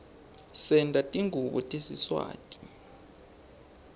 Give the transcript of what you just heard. senta tingubo tesiswati